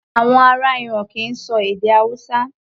Àwọn ará Iran kì í ṣọ èdè Hausa.